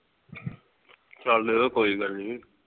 ਚੱਲ ਕੋਈ ਗੱਲ ਨੀ